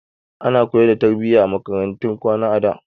Ana koyan tarbiyya a makarantun kwana a da.